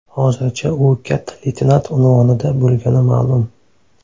Hozircha u katta leytenant unvonida bo‘lgani ma’lum.